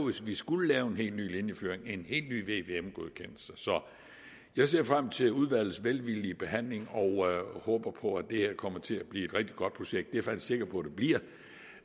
hvis vi skulle lave en helt ny linjeføring ville en helt ny vvm godkendelse så jeg ser frem til udvalgets velvillige behandling og håber på at det her kommer til at blive et rigtig godt projekt jeg faktisk sikker på